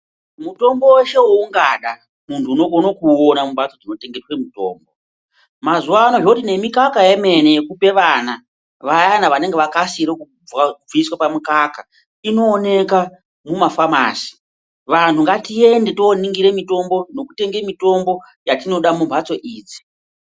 Mutombo weshe waungada muntu unokone kuuona mumhatso dzinotengese mitombo. Mazuwa ano zvoti nemikaka yemene yekupa vana, vayani vakasira kubviswa pamukaka inooneka mumafamasi. Vantu ngatiende tooningira nekutenge mitombo yatingada mumafamasi.